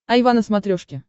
айва на смотрешке